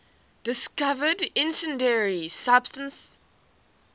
discovered incendiary substance